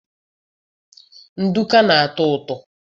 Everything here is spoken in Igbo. nduku na-atọ ụtọ